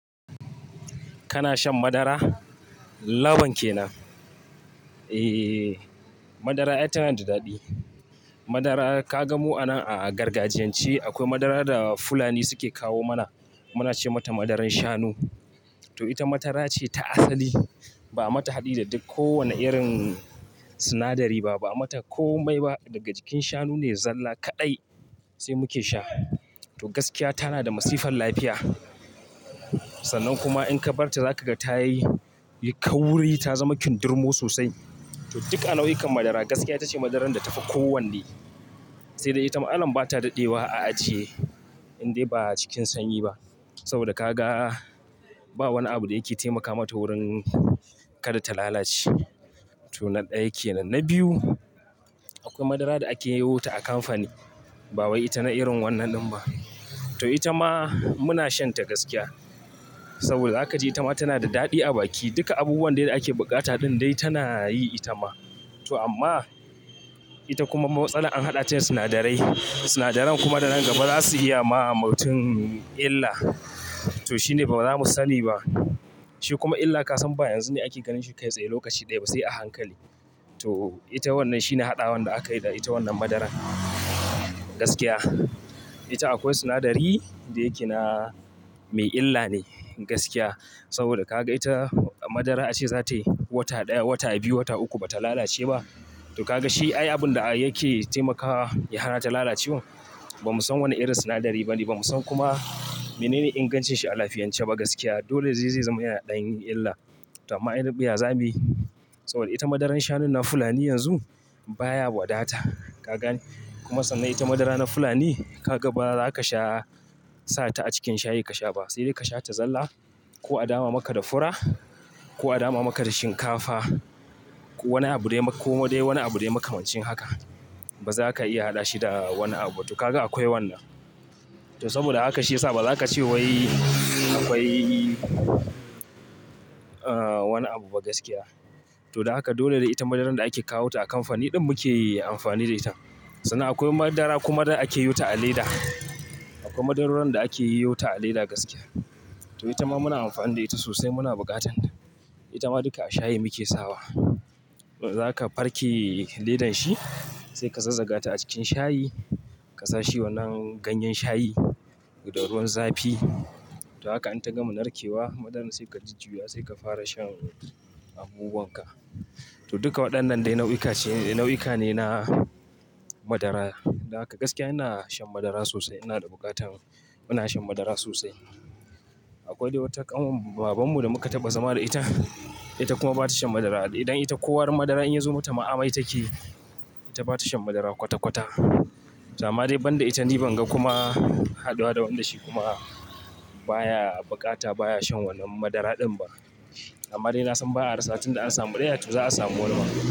Kana shan madara? Laban kenan. E, madara ayy tana da daɗi. Madara ka gan mu a nan a gargajiyance akwai madara da Fulani suke kawo mana. Mu na ce mata madaran shanu. To ita madara ce ta asali. Ba mata haɗi da duk kowane irin sinadari ba, ba mata komai ba. Daga jikin shanu ne zalla kaɗai sai muke sha. To gaskiya ta na da masifan lafiya. Sannan kuma in ka bar ta za ka ga ta yi kauri, ta zama kindirmo sosai. To duk a nau'ikan madara gaskiya ita ce madaran da ta fi kowanne. Sai dai ita ma'alan ba ta daɗewa a ajiye in dai ba a cikin sanyi ba. Saboda ka ga ba wani abu da yake taimaka mata wurin kada ta lalace. To nan ɗaya kenan. Na biyu, akwai madara da a ke yi wota a kamfani. Ba wai ita na irin wannan ɗin ba. To ita ma mu na shan ta gaskiya. Saboda haka ita ma tana da daɗi a baki. Duka abubuwan dai da ake bukata dun dai tana yi ita ma. To amma ita kuma matsalar an haɗa ta da sinadarai. Sinadaran kuma da nan gaba za su iya ma mutum illa. To shi ne ba za mu sani ba. Shi kuma illa ka san ba yanzu ne ake ganin shi kai tsaye lokaci ɗaya ba, sai a hankali. To ita wannan shi ne haɗawa da aka yi da ita wannan madaran gaskiya. Ita akwai sinadari da yake na mai illa ne gaskiya. Saboda ka ga ita madara ace za ta yi wata ɗaya, wata biyu, wata uku ba ta lalace ba. To ka ga shi ay abun da yake taimakawa ya hana ta lalacewa ba mu san wana irin sinadari ba ne. Ba mu san kuma menene ingancin shi a lafiyance ba gaskiya. Dole zai zama yana da dan illa. To amma inarin mu yaza muyi. Saboda ita madaran shanu na Fulani yanzu baya wadata. Ka gani kuma sannan ita madara na Fulani ka ga ba za ka sha sa ta a cikin shayi ka sha ba. Sai dai ka sha ta zalla ko a dama maka da fura ko a dama maka da shinkafa. Wani abu dai ko dai wani abu dai makamancin haka ba za ka iya haɗa shi da wani abuba. To ka ga akwai wannan. To saboda haka shi ya sa ba za ka ce wai akwai, ah, wani abu ba gaskiya. To don haka dole ne da ita madaran da ake kawo ta a kamfani din muke yi amfani da ita. Sannan akwai madara kuma da ake yi wota a leda. Akwai madaruran da akeyi yuts a leda gaskiya. To ita ma muna amfani da ita sosai muna bukatan ta. Ita ma duka a shayi muke sawa. Zaka farke ledan shi sai ka zazzaga ta a cikin shayi. Ka sa shi wannan ganyen shayi da ruwan zafi. To haka in ta gama narkewa madaran sai ka jujjuyya sai ka fara shan abubu wanka. To duka waɗannan dai nau'uka ce nau'uka ne na madara. Don haka gaskiya ina shan madara sosai. Ina da bukatan. Muna shan madara sosai. Akwai dai wata ƙanwar baban mu da muka taɓa zama da ita. Ita kuma ba ta shan madara. Idan ita ko madara in ya zo mata ma'a mai taki, ita ba ta shan madara kwata-kwata. To amma dai banda ita ni ban ga kuma haduwa da wanda shi kuma baya bukata baya shan wannan madara din ba. Amma dai na san ba'a rasa tun da an samu ɗaya to za a samu wani ba.